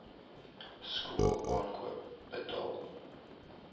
skool aankoop betaal